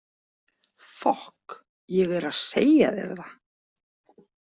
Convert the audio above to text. Fokk, ég er að segja þér það.